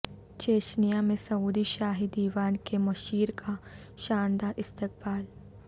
Chechnya میں Saudi شاہی دیوان کے مشیر کا شاندار استقبال